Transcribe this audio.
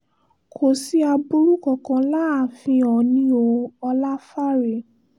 kò sí aburú kankan láàfin oòní o ọláfáre